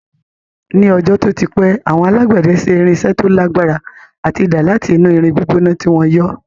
Ní ọjọ́ tó ti pẹ́, àwọn alágbẹ̀dẹ ṣe irinṣẹ́ tó lagbara ati idà láti inú irin gbígbóná tí wọ́n yọ́